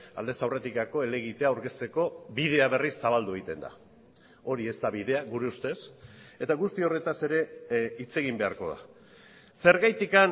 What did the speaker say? aldez aurretikako elegitea aurkezteko bidea berriz zabaldu egiten da hori ez da bidea gure ustez eta guzti horretaz ere hitz egin beharko da zergatik